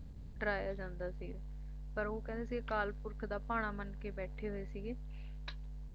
ਕਾਫੀ ਡਰਾਇਆ ਜਾਂਦਾ ਸੀ ਪਰ ਉਹ ਕਹਿੰਦੇ ਸੀ ਅਕਾਲ ਪੁਰਖ ਦਾ ਭਾਣਾ ਮਾਨ ਕੇ ਬੈਠੇ ਹੋਏ ਸੀਗੇ